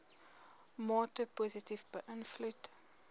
mate positief beïnvloed